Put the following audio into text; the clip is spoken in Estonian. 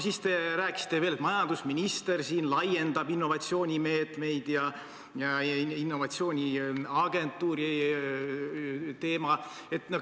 Siis te rääkisite veel, et majandusminister laiendab innovatsioonimeetmeid ja innovatsiooniagentuuri teemat.